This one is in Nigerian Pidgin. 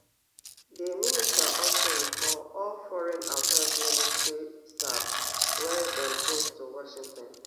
di ministry also recall all foreign affairs ministry staff wia dem post to washington